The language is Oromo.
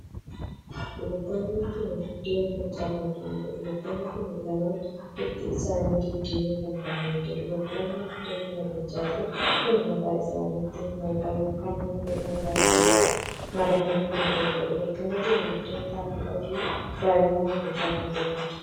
Dubartoonni kun buddeen tolchaa kan jiraniidha. Dubartoonni kun lamaan bifti isaanii diddiimoo kan tahaniidha. Dubartoonni buddeen kana tolchaa jiran kun mataa isaaniitti moofaa ykn herbee mataa isaaniitti maratanii kan jiraniidha. Dubartoonni kun buddeen xaafii adii baay'inaan tolchaa kan jiraniidha.